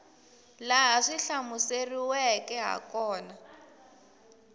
laha swi hlamuseriweke ha kona